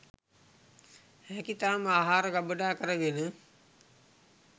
හැකි තරම් ආහාර ගබඩා කර ගෙන